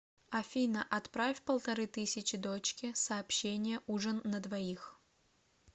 афина отправь полторы тысячи дочке сообщение ужин на двоих